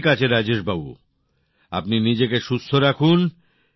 ঠিক আছে রাজেশ বাবু আপনি নিজেকে সুস্থ রাখুন